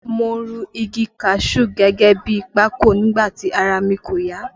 Mo run igi kaṣuú gẹ́gẹ́ bi pákò nígbà tí ara mi kò ya